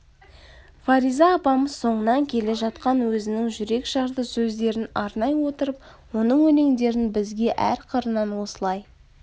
фариза апамыз соңынан келе жатқан өзінің жүрек-жарды сөздерін арнай отырып оның өлеңдерін бізге әр қырынан осылай